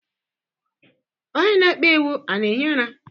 Onye na ekpeiwu a na-ehi ụra?